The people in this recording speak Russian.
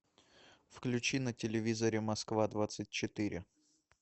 включи на телевизоре москва двадцать четыре